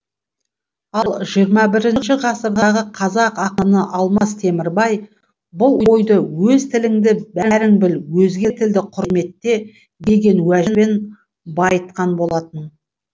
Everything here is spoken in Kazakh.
ал жиырма бесінші ғасырдағы қазақ ақыны алмас темірбай бұл ойды өз тіліңді бәрің біл өзге тілді құрметте деген уәжбен байытқан болатын